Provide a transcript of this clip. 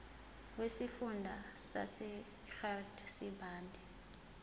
wesifunda sasegert sibande